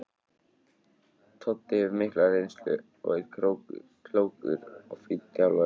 Toddi hefur mikla reynslu og er klókur og fínn þjálfari.